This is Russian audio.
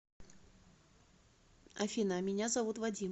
афина а меня зовут вадим